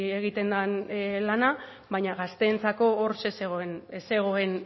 egiten den lana baina gazteentzako hor zer zegoen ez zegoen